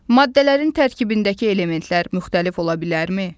Maddələrin tərkibindəki elementlər müxtəlif ola bilərmi?